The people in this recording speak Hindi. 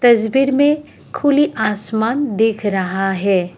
तस्वीर में खुली असमान दिख रहा है।